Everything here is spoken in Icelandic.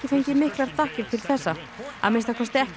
fengið miklar þakkir til þessa að minnsta kosti ekki á